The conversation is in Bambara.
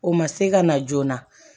O ma se ka na joona